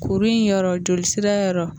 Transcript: Kuru in yɔrɔ joli sira yɔrɔ